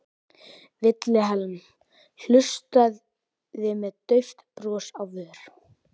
Vilhelm hlustaði með dauft bros á vör.